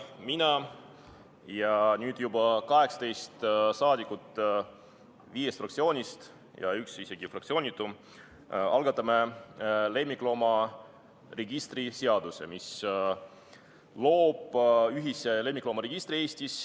Mina ja nüüd juba 18 saadikut viiest fraktsioonist ning isegi üks fraktsioonitu algatame lemmikloomaregistri seaduse, mis loob Eestis ühise lemmikloomaregistri.